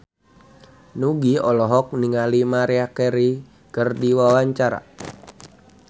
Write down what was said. Nugie olohok ningali Maria Carey keur diwawancara